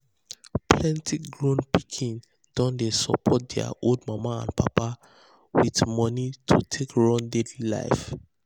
plenty grown pikin don dey support their old mama and papa with with money to take run daily life.